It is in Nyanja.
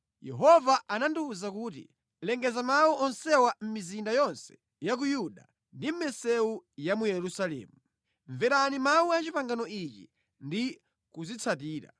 Yehova anandiwuza kuti, “Lengeza mawu onsewa mʼmizinda yonse ya ku Yuda ndi mʼmisewu ya mu Yerusalemu: ‘Mverani mawu a pangano ili ndi kuzitsatira.